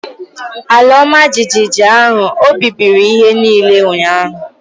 Ala ọmajiji ahụ ọ̀ bibiri ihe niile ụnyahụ?